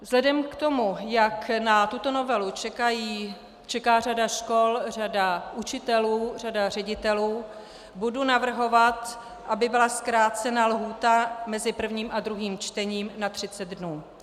Vzhledem k tomu, jak na tuto novelu čeká řada škol, řada učitelů, řada ředitelů, budu navrhovat, aby byla zkrácena lhůta mezi prvním a druhým čtením na 30 dnů.